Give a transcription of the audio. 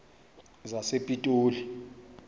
sasepitoli